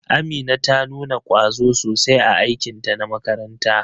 Amina ta nuna kwazo sosai a aikinta na makaranta.